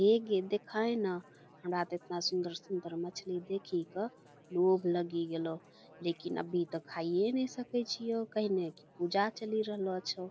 ए गे देखाए न हमरा तो एतना सुन्दर-सुन्दर मछली देखी क भूग लगी गेलो लेकिन अभी तक खाइये नई सके चिओ कहीने के पूजा चली रहलो अछो |